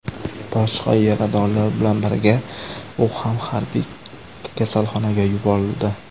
Boshqa yaradorlar bilan birga u ham harbiy kasalxonaga yuborildi.